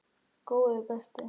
Góði besti.!